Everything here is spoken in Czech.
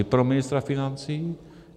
I pro ministra financí?